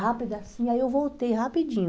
Rápido assim, aí eu voltei rapidinho.